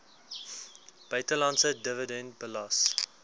buitelandse dividend belas